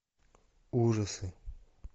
ужасы